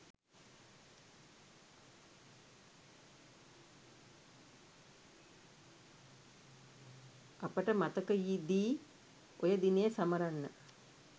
අපට මතකයිදී ඔය දිනය සමරන්න